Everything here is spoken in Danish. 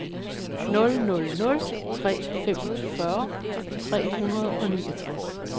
nul nul nul tre femogfyrre tre hundrede og niogtres